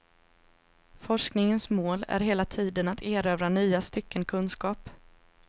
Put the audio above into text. Forskningens mål är hela tiden att erövra nya stycken kunskap.